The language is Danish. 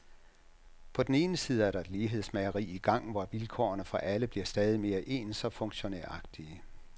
På den ene side er der et lighedsmageri i gang, hvor vilkårene for alle bliver stadig mere ens og funktionæragtige.